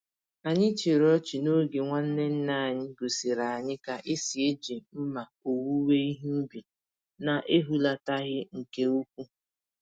Anyị chịrị ọchị n'oge nwanne nna anyị gosiri anyị ka esi eji mma owuwe ihe ubi, na-ehulataghị nke úkwú.